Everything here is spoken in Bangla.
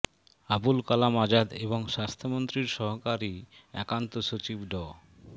আবুল কালাম আজাদ এবং স্বাস্থ্যমন্ত্রীর সহকারী একান্ত সচিব ড